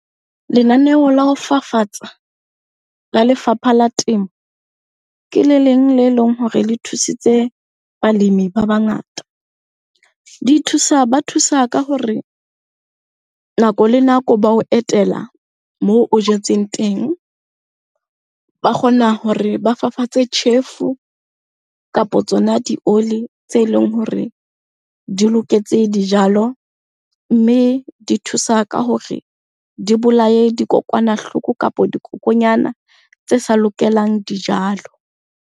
Lenaneo la ho fafatsa la lefapha la temo, ke le leng le leng hore le thusitse balemi ba bangata. Di thusa, ba thusa ka hore nako le nako ba o etela moo o jetseng teng. Ba kgona hore ba fafatse tjhefu kapo tsona dioli tse leng hore di loketse dijalo, mme di thusa ka hore di bolaye dikokwanahloko kapo dikokonyana tse sa lokelang dijalo.